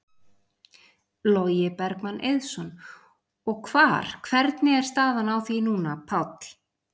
Logi Bergmann Eiðsson: Og hvar, hvernig er staðan á því núna, Páll?